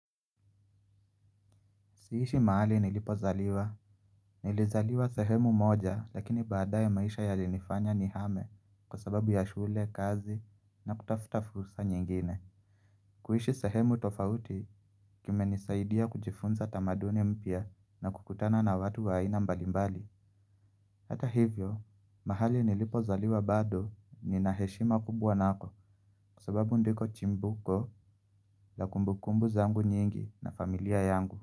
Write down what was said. Siishi mahali nilipozaliwa, nilizaliwa sehemu moja lakini baadaye maisha yalinifanya nihame kwa sababu ya shule, kazi na kutafuta fursa nyingine. Kuishi sehemu tofauti kimenisaidia kujifunza tamaduni mpya na kukutana na watu wa aina mbalimbali. Hata hivyo, mahali nilipozaliwa bado ninaheshima kubwa nako, kwa sababu ndiko chimbuko la kumbukumbu zangu nyingi na familia yangu.